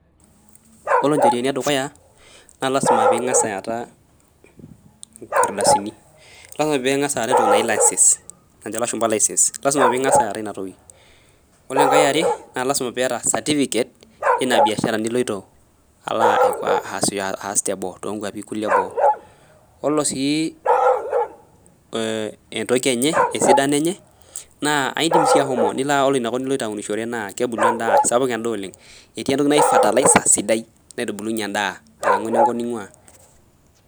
Yiolo njeriani edukuya naa lasima pee eng'as ataa nkardasini lasima pee eyata entoki naaji license najo elashumba license lasima pee eng'as ataa ena toki ore enkae are naa lasima pee eyata certificate eina siai nijo pee ilo aas tonona kwapii kulie ebo ore sii esidano enye edim ashomo ore enakop naa kebulu endaa etii entoki najii fertilizer sidai naitubulunye endaa alangu enenkop ninguaa